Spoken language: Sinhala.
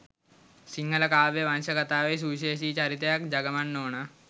සිංහල කාව්‍ය වංශකථාවේ සුවිශේෂී චරිතයක් ගජමන් නෝනා